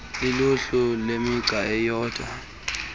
luluhlu lwemigca eyodwa